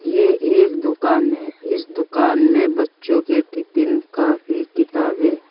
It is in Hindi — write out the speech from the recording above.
ये एक दुकान है इस दुकान में बच्चों के टिफिन कापी किताबें--